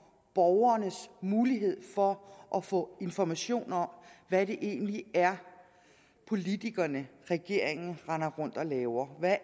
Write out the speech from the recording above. borgernes mulighed for at få information om hvad det egentlig er politikerne og regeringen render rundt og laver hvad